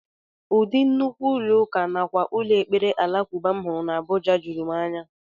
Ụdị nnukwu ụlọ ụka nakwa ụlọ ekpere alakụba m hụrụ n'Abuja juru m anya